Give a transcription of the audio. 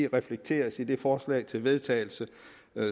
reflekteres i det forslag til vedtagelse